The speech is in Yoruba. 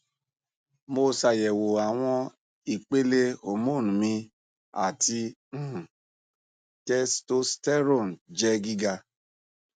mo ṣayẹwo awọn ipele hormone mi ati um testosterone jẹ giga